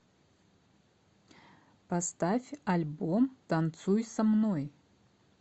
поставь альбом танцуй со мной